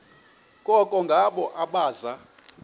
koko ngabo abaza